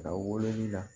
A wololi la